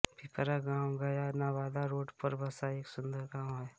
पिपरा गाव गया नवादा रोड पर बसा एक सुन्दर गाव है